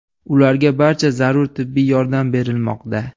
Ularga barcha zarur tibbiy yordam berilmoqda.